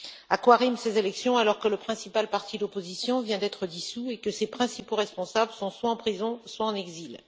À quoi riment ces élections, alors que le principal parti d'opposition vient d'être dissous et que ses principaux responsables sont soit en prison soit en exil.